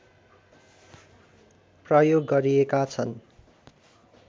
प्रयोग गरिएका छन्